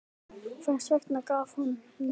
Hvers vegna gaf hún mig?